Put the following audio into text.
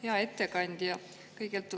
Hea ettekandja!